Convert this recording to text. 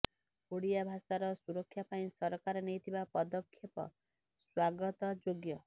ଓଡ଼ିଆ ଭାଷାର ସୁରକ୍ଷା ପାଇଁ ସରକାର ନେଇଥିବା ପଦକ୍ଷେପ ସ୍ୱାଗତଯୋଗ୍ୟ